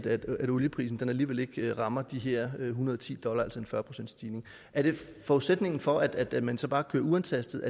at olieprisen alligevel ikke rammer de her en hundrede og ti dollar altså en fyrre procentsstigning er det forudsætningen for at man så bare kører uantastet